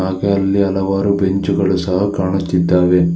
ಹಾಗೆ ಅಲ್ಲಿ ಹಲವಾರು ಬೆಂಚು ಗಳು ಸಹ ಕಾಣುತಿದ್ದಾವೆ.